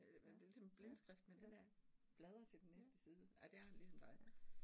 Ja ja ja, Ja, ja